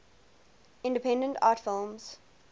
independent art films